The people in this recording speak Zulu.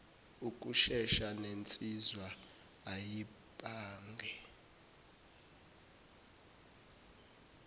ukushesha nensizwa ayibange